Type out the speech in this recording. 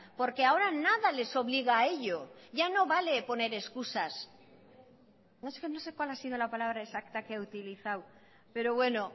porque ahora nada les obliga a ello ya no vale poner excusas no sé cuál ha sido la palabra exacta que ha utilizado pero bueno